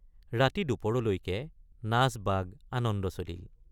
ৰাতি দুপৰলৈকে নাচবাগ আনন্দ চলিল।